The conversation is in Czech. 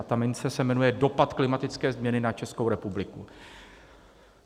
A ta mince se jmenuje dopad klimatické změny na Českou republiku.